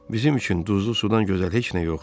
Bizim üçün duzlu sudan gözəl heç nə yoxdur.